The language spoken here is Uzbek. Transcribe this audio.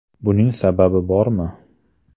Buning sababi bormi?